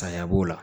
Saya b'o la